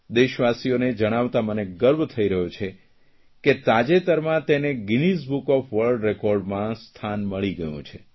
દેશવાસીઓને જણાવતાં મને ગર્વ થઇ રહ્યો છે કે તાજેતરમાં તેને ગીનીઝ બુક ઓફ વર્લ્ડ રેકોર્ડમાં તેને સ્થાન મળી ગયું છે